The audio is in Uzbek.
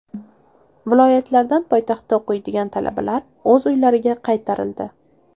Viloyatlardan poytaxtda o‘qiydigan talabalar o‘z uylariga qaytarildi .